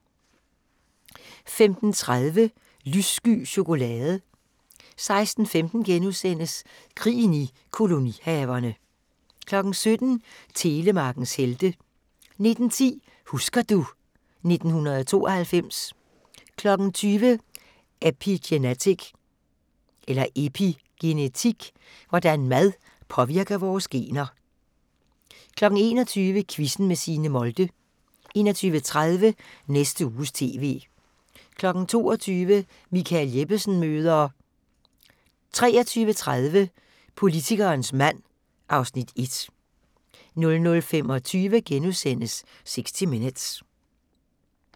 15:30: Lyssky chokolade 16:15: Krigen i kolonihaverne * 17:00: Telemarkens helte 19:10: Husker du ... 1992 20:00: Epigenetik – hvordan mad påvirker vores gener 21:00: Quizzen med Signe Molde 21:30: Næste Uges TV 22:00: Michael Jeppesen møder ... 23:30: Politikerens mand (Afs. 1) 00:25: 60 Minutes *